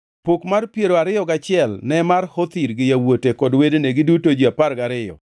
Pok mar piero ariyo gachiel ne mar Hothir gi yawuote kod wedene, giduto ji apar gariyo,